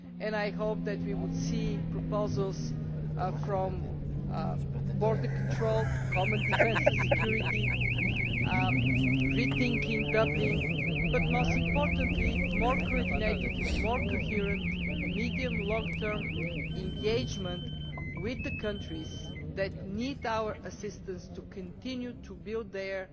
I hope that we will see proposals ranging from border control, common defence and security, to rethinking Dublin but, most importantly, more coordinated and coherent medium to long term engagement with the countries that need our assistance to continue to build their